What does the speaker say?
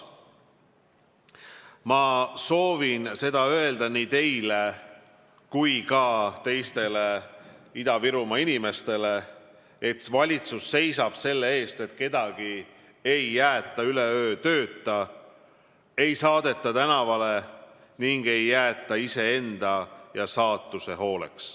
Ma soovin öelda nii teile kui ka teistele Ida-Virumaa inimestele, et valitsus seisab selle eest, et kedagi ei jäetaks üle öö tööta, ei saadetaks tänavale ega jäetaks iseenda ja saatuse hooleks.